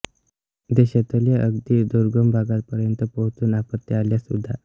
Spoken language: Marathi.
देशातल्या अगदी दुर्गम भागापर्यंत पोहोचून आपत्ती आल्यास उदा